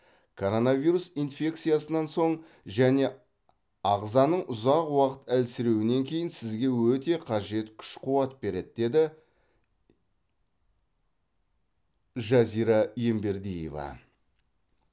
коронавирус инфекциясынан соң және ағзаның ұзақ уақыт әлсіреуінен кейін сізге өте қажет күш қуат береді деді жазира ембердиева